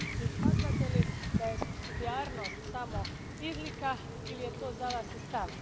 Smatrate li da je supsidijarnost samo izlika ili je to za vas i stav?